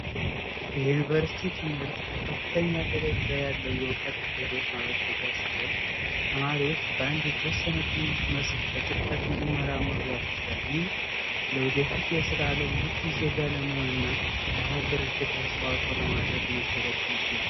የዩኒቨርስቲ ትምህርት ከከፍተኛ ደሰጃ ያለው የእውቀት ማበልፀጊያ ሲሆን ተማሪዎች በአንድ የተወሰነ የትምህርት መስክ በጥልቀት እንዲመሩ ያስችላል ይህ ለወደፊት የስራ ብቁ ዜጋ ለመሆን እና ለሀገር አስተዋጽኦ ለማበርከት መሰረት ይቀጥላል።